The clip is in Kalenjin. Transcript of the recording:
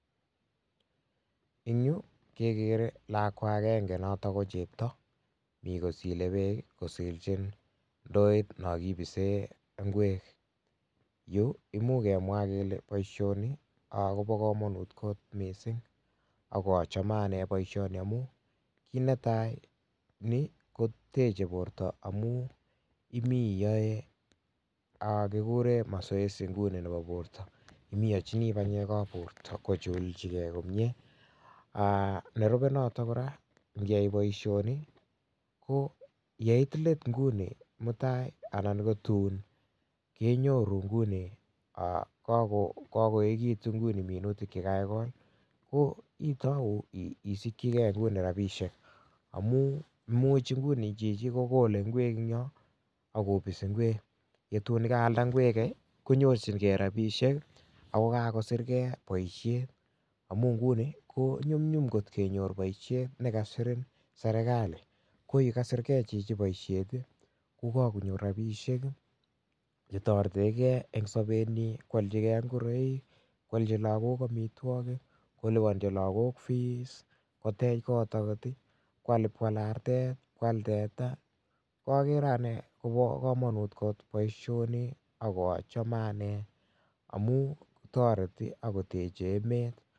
Eng yu kekere lakwa agenge noto kochepto mi kosilei beek kosiljin ndoit no kibisen ngwek yu imuch kemwaa kele boishoni Kobo komonut kot mising akachome anee boishoni amun kiit netai ni kotechei borto amun imii iyoe mazoezi nguni nebo borto imii iyoichinii banyek ab borto kochulchigei komnyee nerubei noto kora ngiyai boishoni ko yeit let nguni mutai anan ko tuun keinyoru nguni kakoekekitu minutik chekakekol ko itou isikchigei nguni ropishek amun much nguni chichi kokolei ngwek eng nyoo akobisi ngwek ko tuun ndaalda ngwek konyorchingei ropishek ako kakosirgei boishet amun nguni ko manyumnyum kot kenyor boishet nekasirin serikali ko ye kasirgei chichi boishet ko kakonyor ropishek chetoretegei eng sobenyii koalchigei ngoroik, koalchi lagok amitwokik, kolipanchi lagok feesakotech kot agot koal akot artet koal teta akere anee Kobo komonut kot boishoni akachome anee amun toreti akotechei emet